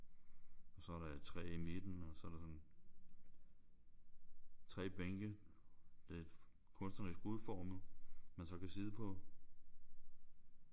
Og så er der et træ i midten og så er der sådan 3 bænke lidt kunstnerisk udformet man så kan sidde på